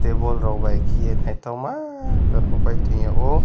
teble rok bai khiye naithokma rokopai tongyao.